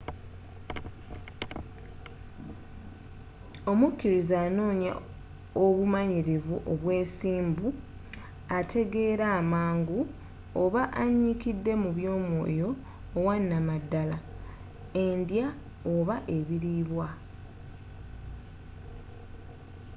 omukiriza anoonya obumanyirivu obwesimbu ategeera amangu oba anyikidde mu by’omwooyo owanamadala/ endya oba ebiliibwa